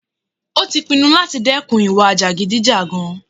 Ó tí pinnu láti dẹ́kun ìwà jàgídíjàgan.